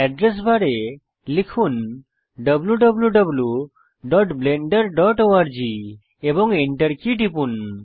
address বারে লিখুন wwwblenderorg এবং Enter কী টিপুন